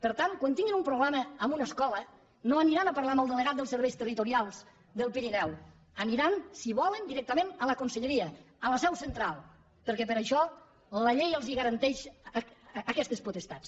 per tant quan tinguin un problema amb una escola no aniran a parlar amb el delegat dels serveis territorials del pirineu aniran si volen directament a la conselleria a la seu central perquè per això la llei els garanteix aquestes potestats